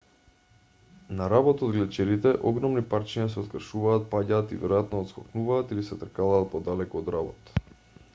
на работ од глечерите огромни парчиња се откршуваат паѓаат и веројатно отскокнуваат или се тркалаат подалеку од работ